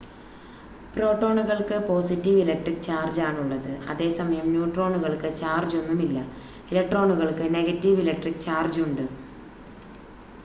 പ്രോട്ടോണുകൾക്ക് positive electric ചാർജാണുള്ളത് അതേസമയം ന്യൂട്രോണുകൾക്ക് ചാർജൊന്നും ഇല്ല ഇലക്ട്രോണുകൾക്ക് നെഗറ്റീവ് ഇലക്‌ട്രിക്ക് ചാർജ് ഉണ്ട്